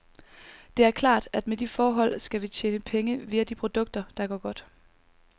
Det er klart, at med de forhold skal vi tjene penge via de produkter, der går godt.